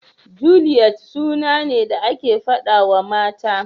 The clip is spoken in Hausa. Juliyet suna ne da ake faɗawa mata.